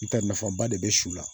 I ka nafaba de be su la